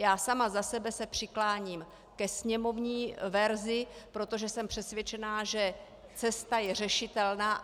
Já sama za sebe se přikláním ke sněmovní verzi, protože jsem přesvědčená, že cesta je řešitelná.